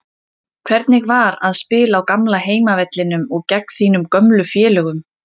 Hvernig var að spila á gamla heimavellinum og gegn þínum gömlu félögum?